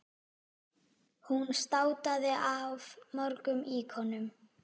Hún státaði af mörgum íkonum.